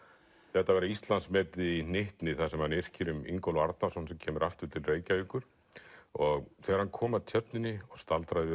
þetta vera Íslandsmet í hnyttni þar sem hann yrkir um Ingólf Arnarson sem kemur aftur til Reykjavíkur og þegar hann kom að tjörninni og staldraði við